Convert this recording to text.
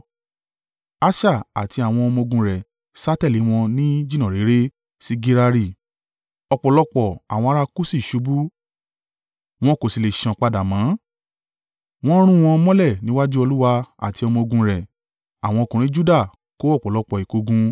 Asa àti àwọn ọmọ-ogun rẹ̀ sá tẹ̀lé wọn ní jìnnà réré sí Gerari. Ọ̀pọ̀lọpọ̀, àwọn ará Kuṣi ṣubú, wọn kò sì le sán padà mọ́. Wọn rún wọn mọ́lẹ̀ níwájú Olúwa àti ọmọ-ogun rẹ̀. Àwọn ọkùnrin Juda kó ọ̀pọ̀lọpọ̀ ìkógun.